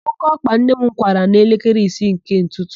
Ókéọkpa nne m kwara n'elekere ise nke ụtụtụ